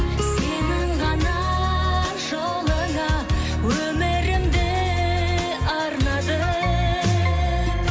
сенің ғана жолыңа өмірімді арнадым